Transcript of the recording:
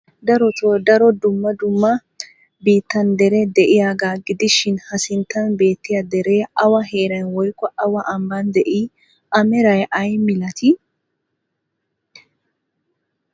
Darotoo daro dumma dumma biittan deree de'iyagaa gidishin ha sinttan beettiya deree awa heeran woykko awa ambban de'ii? A meray ay milatii?